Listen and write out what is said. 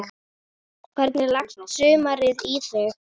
Hvernig leggst sumarið í þig?